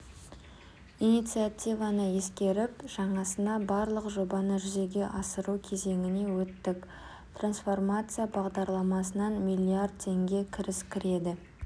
инициативаны ескеріп жаңасына барлық жобаны жүзеге асыру кезеңіне өттік трансформация бағдарламасынан миллиард теңге кіріс кіреді